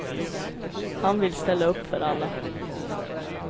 Han vill ställa upp för alla.